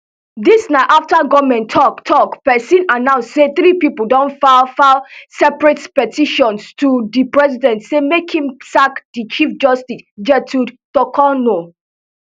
dis na afta goment tok tok pesin announce say three pipo don file file separate petitions to di president say make im sack di chief justice gertude torkornoo